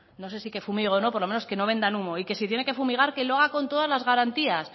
no sé si que fumigue o no pero por lo menos que no vendan humo y que si tiene que fumigar que lo haga con todo las garantías